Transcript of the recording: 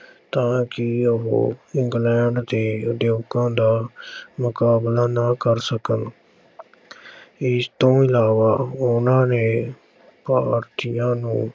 ਤਾਂ ਕਿ ਉਹ ਇੰਗਲੈਂਡ ਦੇ ਉਦਯੋਗਾਂ ਦਾ ਮੁਕਾਬਲਾ ਨਾ ਕਰ ਸਕਣ ਇਸ ਤੋਂ ਇਲਾਵਾ ਉਹਨਾਂ ਨੇ ਭਾਰਤੀਆਂ ਨੂੰ